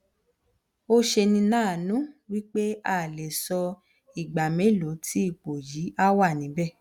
o senilanu wi pe a le so igba melo ti ipo yi a wanibe